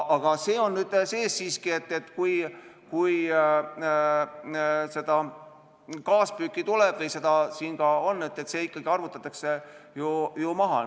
Aga see on nüüd sees siiski, et kui kaaspüüki tuleb või seda siin ka on, siis see arvutatakse ju maha.